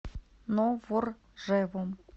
новоржевом